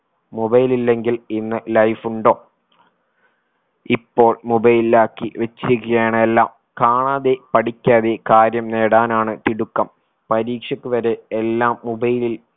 mobile ഇല്ലെങ്കിൽ ഇന്ന് life ഉണ്ടോ ഇപ്പോൾ mobile ലാക്കി വെച്ചിരിക്കുകയാണ് എല്ലാം കാണാതെ പഠിക്കാതെ കാര്യം നേടാനാണ് തിടുക്കം പരീക്ഷക്ക് വരെ എല്ലാം mobile ഇൽ